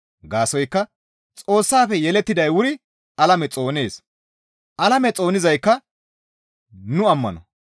Gaasoykka Xoossafe yelettiday wuri alame xoonees; alame xoonizaykka nu ammano.